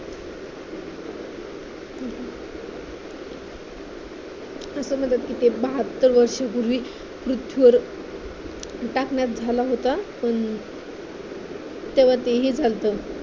असं म्हणतात कि ते कि बहात्तर वर्षांपूर्वी पृथ्वीवर टाकण्यात झाला होता पण तेव्हा ते हे झालत